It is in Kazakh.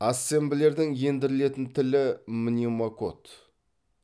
ассемблердің ендірілетін тілі мнемокод